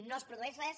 no es produeix res